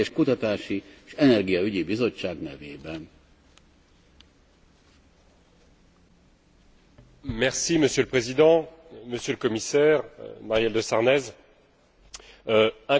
Monsieur le Président, Monsieur le Commissaire, Madame de Sarnez, incontestablement la faiblesse du respect des normes sociales, environnementales, des droits humains est aussi